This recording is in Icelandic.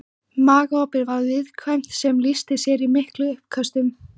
Magaopið var viðkvæmt sem lýsti sér í miklum uppköstum.